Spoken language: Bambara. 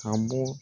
Ka bɔ